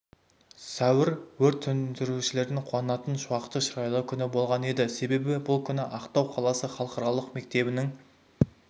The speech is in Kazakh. сәуір өрт сөндірушілерді қуантатын шуақты шырайлы күн болған еді себебі бұл күні ақтау қаласы халықаралық мектебінің